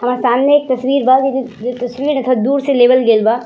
और सामने एक तस्वीर बा जे तस्वीर दूर से लिहल गयी बा।